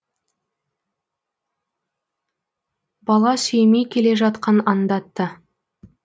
бала сүймей келе жатқан аңдатты